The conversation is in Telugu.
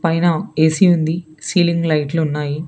పైన ఎ సి ఉంది సీలింగ్ లైట్లు ఉన్నాయి.